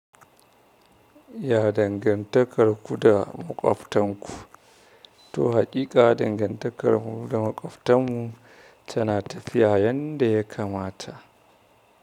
Ya dangantakar ku da maƙwabtanku, to haƙiƙa dangantakar mu da maƙwabtan mu tana tafiya yanda ya kamata.